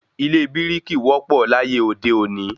Ilé bírìkì ló wọ́ pọ̀ láyé òde òní